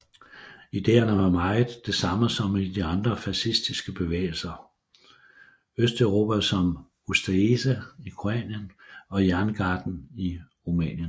Idéerne var meget det samme som i de andre fascistiske bevægelser Østeuropa som Ustaše i Kroatien og Jerngarden i Rumænien